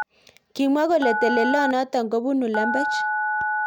Kimwa kole telelonotok ko bonu lembech.